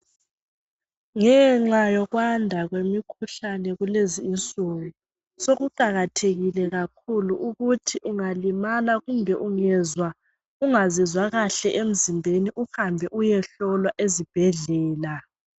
Ngenxa yokwanda kwemikhuhlane kulenzi insuku sokuqakathekile kakhuku ukuthi ungalimala kumbe ungezwa ungazizwa kahle emzimbeni uhambe uyehlowa ezibhedlela.